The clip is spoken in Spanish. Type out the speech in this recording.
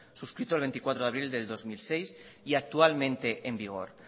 suscrito el veinticuatro de abril de dos mil seis y actualmente en vigor